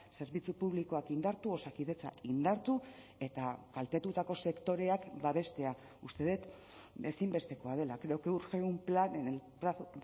zerbitzu publikoak indartu osakidetza indartu eta kaltetutako sektoreak babestea uste dut ezinbestekoa dela creo que urge un plan en el plazo